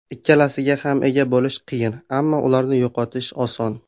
Ikkalasiga ham ega bo‘lish qiyin, ammo ularni yo‘qotish oson.